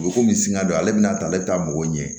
U bɛ komi singa don ale bina ta ale taa mɔgɔw ɲɛ